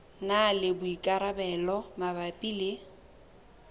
na le boikarabelo mabapi le